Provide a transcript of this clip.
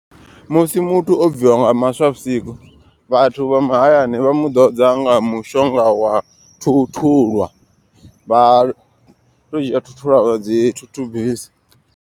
Musi muthu o bviwa nga maswa vhusiku. Vhathu vha mahayani vha mu ḓodza nga mushonga wa thuthulwa. Vha to dzhia thuthulwa vha dzi thuthubisa.